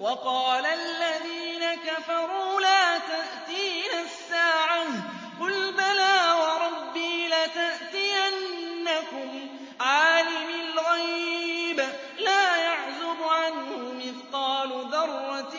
وَقَالَ الَّذِينَ كَفَرُوا لَا تَأْتِينَا السَّاعَةُ ۖ قُلْ بَلَىٰ وَرَبِّي لَتَأْتِيَنَّكُمْ عَالِمِ الْغَيْبِ ۖ لَا يَعْزُبُ عَنْهُ مِثْقَالُ ذَرَّةٍ